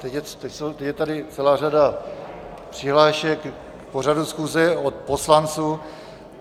Teď je tady celá řada přihlášek k pořadu schůze od poslanců.